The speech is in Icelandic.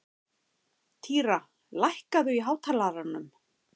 Týra, lækkaðu í hátalaranum.